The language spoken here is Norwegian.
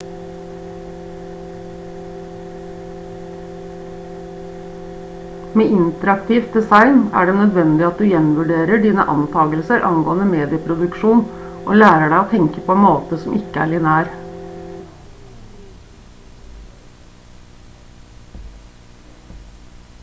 med interaktivt design er det nødvendig at du gjenvurderer dine antakelser angående medieproduksjon og lærer deg å tenke på en måte som ikke er lineær